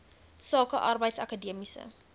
sake arbeids akademiese